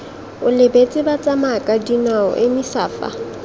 o lebeletse batsamayakadinao emisa fa